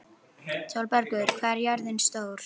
Sólbergur, hvað er jörðin stór?